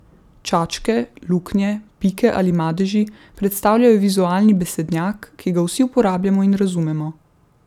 Čačke, luknje, pike ali madeži predstavljajo vizualni besednjak, ki ga vsi uporabljamo in razumemo.